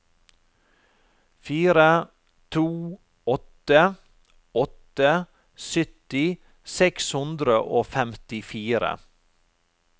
fire to åtte åtte sytti seks hundre og femtifire